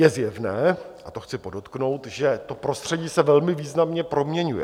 Je zjevné, a to chci podotknout, že to prostředí se velmi významně proměňuje.